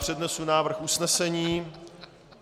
Přednesu návrh usnesení.